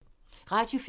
Radio 4